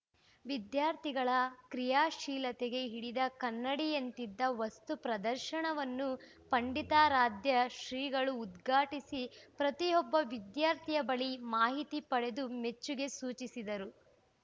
ವಿದ್ಯಾರ್ಥಿಗಳ ಕ್ರಿಯಾಶೀಲತೆಗೆ ಹಿಡಿದ ಕನ್ನಡಿಯಂತಿದ್ದ ವಸ್ತು ಪ್ರದರ್ಶನವನ್ನು ಪಂಡಿತಾರಾಧ್ಯ ಶ್ರೀಗಳು ಉದ್ಘಾಟಿಸಿ ಪ್ರತಿಯೊಬ್ಬ ವಿದ್ಯಾರ್ಥಿಯ ಬಳಿ ಮಾಹಿತಿ ಪಡೆದು ಮೆಚ್ಚುಗೆ ಸೂಚಿಸಿದರು